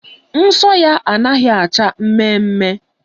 Nsọ ya anaghị acha mmemme